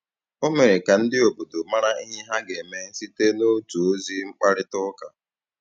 Ọ mere ka ndị bi n’obodo marà ihe ha ga-eme site n’otu ozi mkparịta ụka.